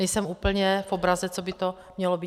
Nejsem úplně v obraze, co by to mělo být.